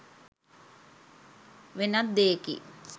වෙනත් දෙයකි.